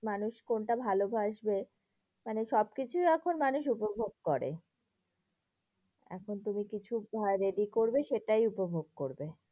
মানুষ কোনটা ভালোবাসবে, মানে সবকিছুই এখন মানুষ উপভোগ করে। এখন তুমি কিছু ready করবে সেটাই উপভোগ করবে।